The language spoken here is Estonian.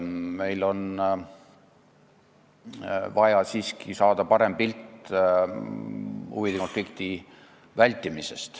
Meil on vaja siiski saada parem pilt, kuidas huvide konflikti vältida.